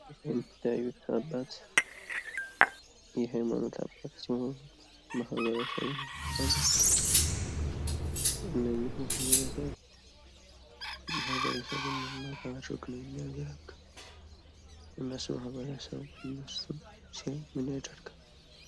ይህ የምታዩት አባት የሃይማኖት አባት ሲሆን፤ ማህበረሰቡን የሚያገለግልና የሚያጠምቅ ትልቅ አባት ሲሆን ምን እያደረገ ይታያል?